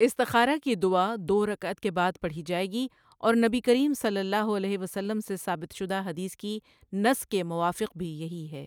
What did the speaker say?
استخارہ کی دعا دو رکعت کے بعد پڑھی جائیگی اور نبی کریم صلی اللہ علیہ وسلم سے ثابت شدہ حدیث کی نص کے موافق بھی یہی ہے۔